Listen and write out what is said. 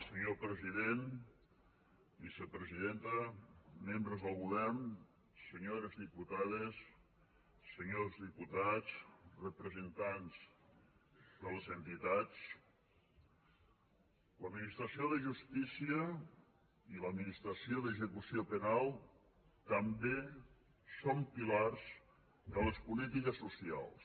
senyor president vicepresidenta membres del govern senyores diputades senyors diputats representants de les entitats l’administració de justícia i l’administració d’execució penal també són pilars de les polítiques socials